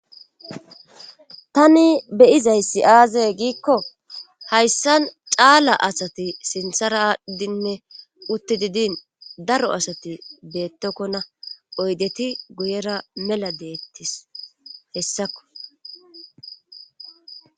tani beyizay si aazee giikko hayssan caala asati sinthara aadhdinne utti didin daro asati beettokkona oydeti guyera mela deettis hessakko